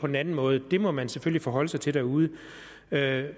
den anden måde må man selvfølgelig forholde sig til derude men jeg